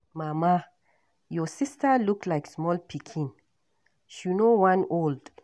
Mama your sister look like small pikin, she no wan old.